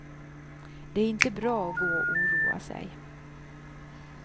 Det är inte bra att gå och oroa sig.